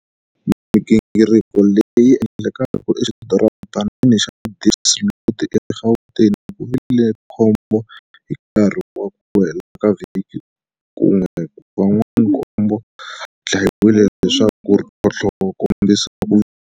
Migingiriko leya ha ku endlekaka exidoropanini xa Diepsloot eGauteng ku vile khombo. Hi nkarhi wa ku hela ka vhiki kun'we, vanhu va nkombo va dlayiwile, leswi nga tlhontlha ku kombisa ku vilela.